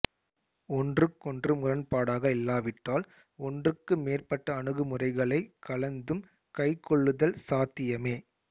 ஒன்றுக்கொன்று முரண்பாடாக இல்லாவிட்டால் ஒன்றுக்கு மேற்பட்ட அணுகுமுறைகளைக் கலந்தும் கைக்கொள்ளுதல் சாத்தியமே